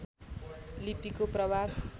लिपिको प्रभाव